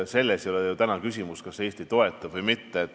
Selles ei ole täna ju küsimus, kas Eesti toetab sanktsioone või mitte.